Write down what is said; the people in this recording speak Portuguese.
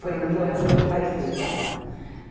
Foi quando eu parei de estudar.